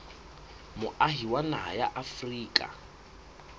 moahi wa naha ya afrika